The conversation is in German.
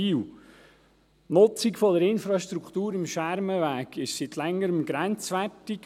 Die Nutzung der Infrastruktur am Schermenweg ist seit Längerem grenzwertig.